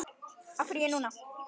Af hverju ég núna?